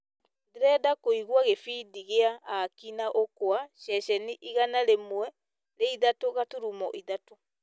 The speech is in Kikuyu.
ndĩrenda kũigua gĩbindi kĩa aki na ukwa ceceni igana rĩmwe rĩa ithatũ gaturumo ithatũ